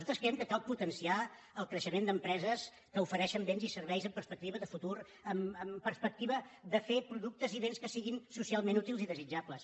nosaltres creiem que cal potenciar el creixement d’empreses que ofereixen béns i serveis amb perspectiva de futur amb perspectiva de fer productes i béns que siguin socialment útils i desitjables